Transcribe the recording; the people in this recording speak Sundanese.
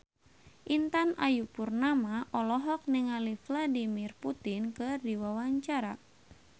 Intan Ayu Purnama olohok ningali Vladimir Putin keur diwawancara